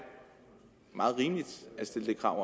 meget rimeligt at stille det krav